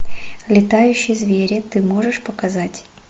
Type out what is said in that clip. летающие звери ты можешь показать